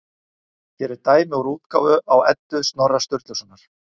Hér er dæmi úr útgáfu á Eddu Snorra Sturlusonar.